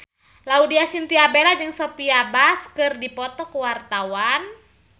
Laudya Chintya Bella jeung Sophia Bush keur dipoto ku wartawan